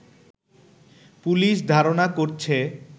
police ধারণা করছে